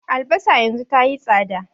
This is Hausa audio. Albasa yanzu tayi tsada